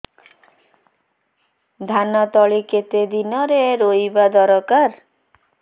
ଧାନ ତଳି କେତେ ଦିନରେ ରୋଈବା ଦରକାର